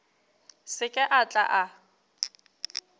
se ke a tla a